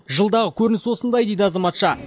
жылдағы көрініс осындай дейді азаматша